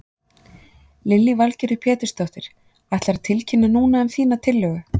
Lillý Valgerður Pétursdóttir: Ætlarðu að tilkynna núna um þína tillögu?